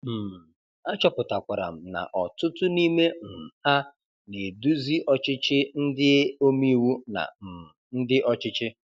um achọpụtakwara m na ọtụtụ n'ime um ha na-eduzi ọchịchị ndị omeiwu na um ndị ọchịchị.